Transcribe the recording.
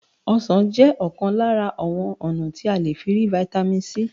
Is oranges one of the means of getting vitamin C?